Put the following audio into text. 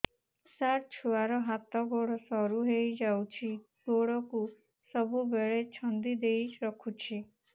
ସାର ଛୁଆର ହାତ ଗୋଡ ସରୁ ହେଇ ଯାଉଛି ଗୋଡ କୁ ସବୁବେଳେ ଛନ୍ଦିଦେଇ ରଖୁଛି